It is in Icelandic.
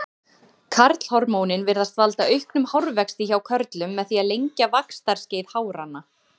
Karlhormónin virðast valda auknum hárvexti hjá körlum með því að lengja vaxtarskeið háranna.